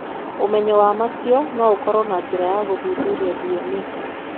Ũmenyo wa mũico no ũkorũo na njĩra ya gũthuthuria DNA.